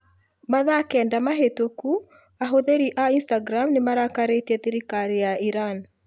Mathaa kenda mahĩtũku ahũthĩri a Instagram nĩ marakarĩtie thirikari ya Iran.